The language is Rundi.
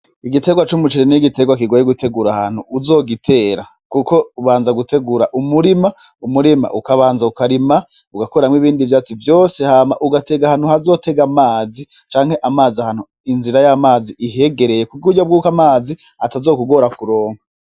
Igitegwa c'umuceri n'igitegwa kigoye gutegura ahantu uzogitera kuko ubanza gutegura umurima, umurima ukabanza ukarima ugakuramwo ibindi vyatsi vyose hama ugatega ahantu hazotega amazi canke inzira y'amazi ihegereye kuburyo bwuko amazi atazokugora kuronka.